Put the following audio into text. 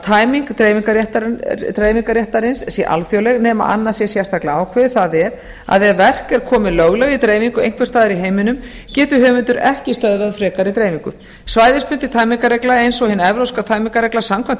tæming dreifingarréttarins sé alþjóðleg nema annað sérstaklega ákveðið það er að ef verk er komið löglega í dreifingu einhvers staðar í heiminum getur höfundur ekki stöðvað frekari dreifingu svæðisbundin tæmingarregla eins og hin evrópska tæmingarregla samkvæmt